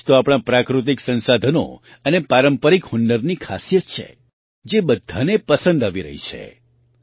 આ જ તો આપણાં પ્રાકૃતિક સંસાધનો અને પારંપરિક હુનરની ખાસિયત છે જે બધાને પસંદ આવી રહી છે